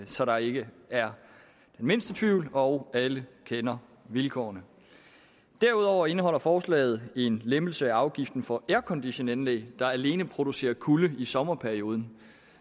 så der ikke er den mindste tvivl og så alle kender vilkårene derudover indeholder forslaget en lempelse af afgiften for airconditionanlæg der alene producerer kulde i sommerperioden